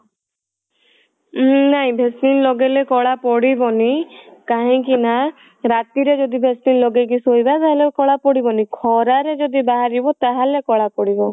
ଉଁ ନାଇଁ vaseline ଲଗେଇଲେ କଳା ପଡିବନି କାହିଁକି ନା ରାତିରେ ଯଦି vaseline ଲଗେଇକି ଶୋଇବା ତାହେଲେ କଳା ପଡିବନି ଖରାରେ ଯଦି ବାହାରିବ ତାହେଲେ କଳା ପଡିବ